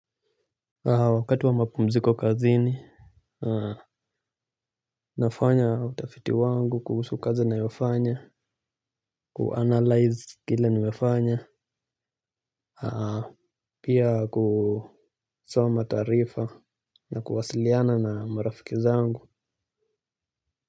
Wakati wa mapumziko kazini nafanya utafiti wangu kuhusu kazi nayofanya kuanalyze kile nimefanya pia kusoma taarifa na kuwasiliana na marafiki zangu. Kwa hivyo.